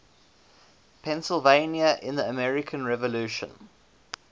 pennsylvania in the american revolution